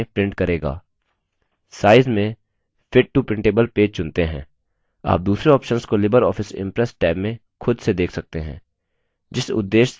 size में fit to printable page चुनते हैं आप दूसरे options को libreoffice impress टैब में खुद से देख सकते हैं